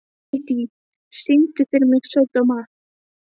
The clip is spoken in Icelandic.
Kittý, syngdu fyrir mig „Sódóma“.